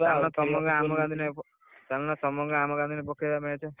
ଚାଲ ତମ ଗାଁ ଆମ ଗାଁ ଦିନେ, ଚାଲୁନ ତମ ଗାଁ ଆମ ଗାଁ ଦିନେ ପକେଇବା match ।